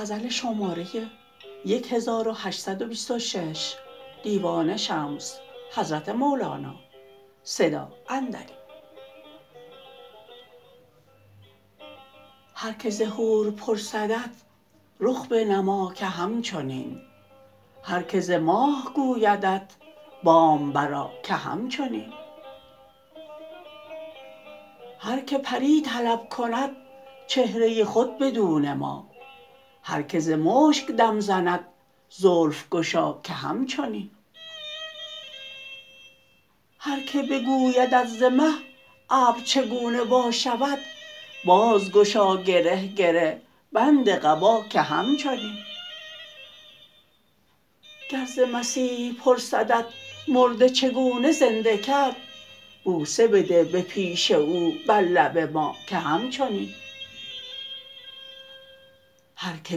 هر کی ز حور پرسدت رخ بنما که هم چنین هر کی ز ماه گویدت بام برآ که هم چنین هر کی پری طلب کند چهره خود بدو نما هر کی ز مشک دم زند زلف گشا که هم چنین هر کی بگویدت ز مه ابر چگونه وا شود بازگشا گره گره بند قبا که هم چنین گر ز مسیح پرسدت مرده چگونه زنده کرد بوسه بده به پیش او بر لب ما که هم چنین هر کی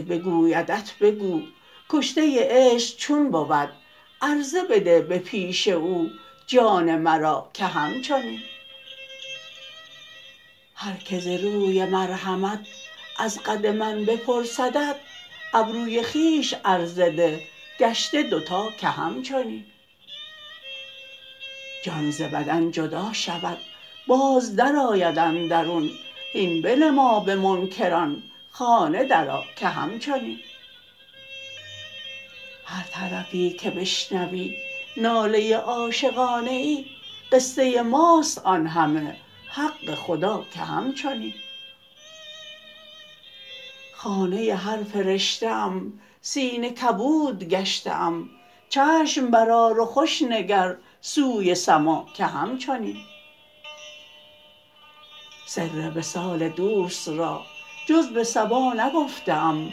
بگویدت بگو کشته عشق چون بود عرضه بده به پیش او جان مرا که هم چنین هر کی ز روی مرحمت از قد من بپرسدت ابروی خویش عرضه ده گشته دو تا که هم چنین جان ز بدن جدا شود باز درآید اندرون هین بنما به منکران خانه درآ که هم چنین هر طرفی که بشنوی ناله عاشقانه ای قصه ماست آن همه حق خدا که هم چنین خانه هر فرشته ام سینه کبود گشته ام چشم برآر و خوش نگر سوی سما که هم چنین سر وصال دوست را جز به صبا نگفته ام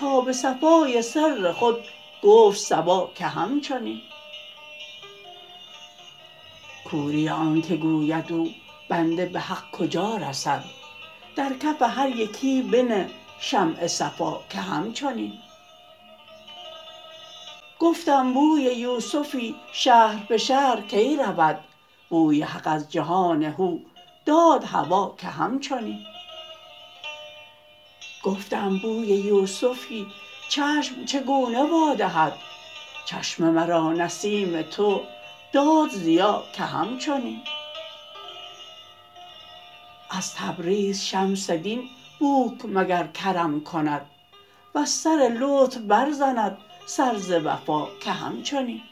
تا به صفای سر خود گفت صبا که هم چنین کوری آنک گوید او بنده به حق کجا رسد در کف هر یکی بنه شمع صفا که هم چنین گفتم بوی یوسفی شهر به شهر کی رود بوی حق از جهان هو داد هوا که هم چنین گفتم بوی یوسفی چشم چگونه وا دهد چشم مرا نسیم تو داد ضیا که هم چنین از تبریز شمس دین بوک مگر کرم کند وز سر لطف برزند سر ز وفا که هم چنین